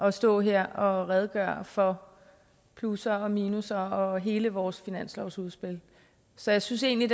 at stå her og redegøre for plusser og minusser og hele vores finanslovsudspil så jeg synes egentlig